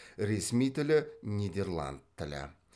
ресми тілі нидерланд тілі